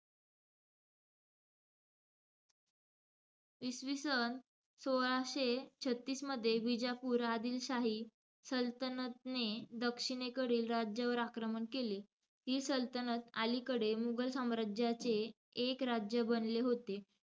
इसवीसन सोळाशे छत्तीसमध्ये, विजापूर आदिल शाही सल्तनतने, दक्षिणेकडील राज्यांवर आक्रमण केले. ही सल्तनत अलीकडे मुघल साम्राज्याचे एक राज्य बनले होते.